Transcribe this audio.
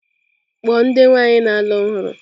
Kpọọ ndị nwaanyị na-alụ ọhụrụ!